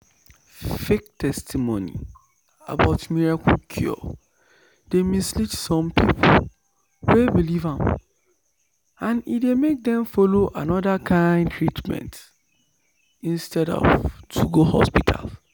fake testimony about miracle cure dey mislead some people wey believe am and e dey make dem follow another kind treatment instead of go hospital.